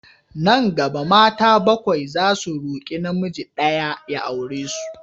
Nan gaba, mata bakwai zasu roƙi namiji ɗaya ya aure su.